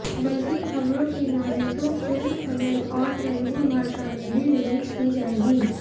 बल्कि खबरों की मानें तो फिल्म तमिल और तेलुगु भाषा में भी रिलीज की जाएगी